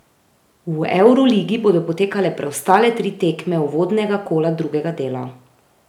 V evroligi bodo potekale preostale tri tekme uvodnega kola drugega dela.